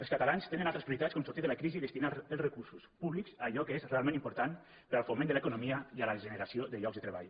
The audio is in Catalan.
els catalans tenen altres prioritats com sortir de la crisi i destinar els recursos públics a allò que és realment important per al foment de l’economia i la generació de llocs de treball